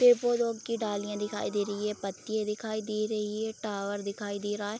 पेड़-पौधों की डालीयाँ दिखाई दे रही हैं पत्तियाँ दिखाई दे रही हैं टावर दिखाई दे रहा है।